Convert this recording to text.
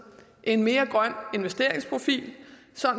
en mere grøn investeringsprofil